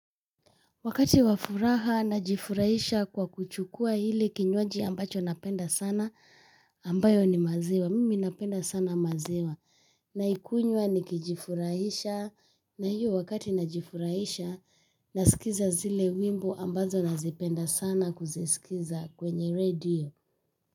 Wakati wa furaha najifurahisha kwa kuchukua ile kinywaji ambacho napenda sana ambayo ni maziwa mimi napenda sana maziwa na ikunywa nikijifurahisha na hiyo wakati najifurahisha nasikiza zile wimbo ambazo nazipenda sana kuzisikiza kwenye redio.